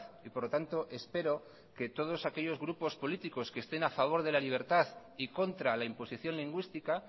y por lo tanto espero que todos aquellos grupos políticos que estén a favor de la libertad y contra la imposición lingüística